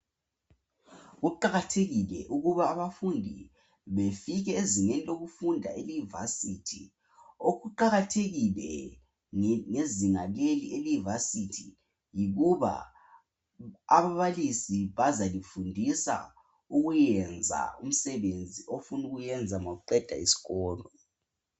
Kuqakathekile ukuba abafundi befike ezingeni lokufunda ele"varsity".Okuqakathekile ngezinga leli ele"varsity" yikuba ababalisi bazalifundisa ukuyenza umsebenzi ofunukuwenza ma uqeda isikolo.